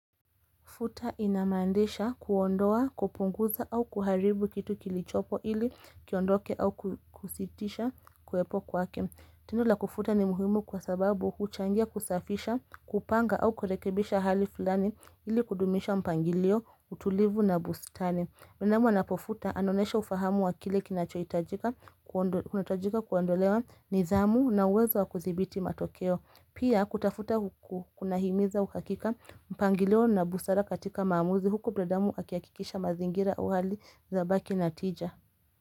Futa inamandisha kuondoa, kupunguza au kuharibu kitu kilichopo ili kiondoke au kusitisha kuwepo kwake. Tendon la kufuta ni muhimu kwa sababu huchangia kusafisha, kupanga au kurekebisha hali fulani ili kudumisha mpangilio, utulivu na bustani. Minamu anapofuta anonesha ufahamu wa kile kinachoitajika kuondolewa nidhamu na uwezo wa kuthibiti matokeo. Pia kutafuta huku kuna himiza ukakika mpangilio na busara katika maamuzi huku binadamu akiakikisha mazingira uwali zabaki na tija.